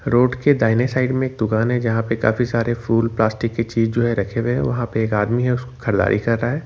Road के दाहिने side में एक दुकान जहां पे काफी सारे फूल प्लास्टिक के चीज जो है रखे हुए वहां पे एक आदमी है उसको खरीदारी कर रहा है।